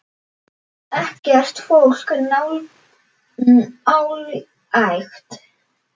Ekkert fólk nálægt.